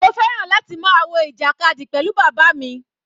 Mo fẹ́ràn láti máa wo ìjàkadì pẹ̀lú bàbá mi.